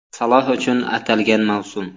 Saloh uchun atalgan mavsum.